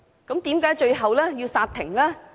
為何最後要煞停？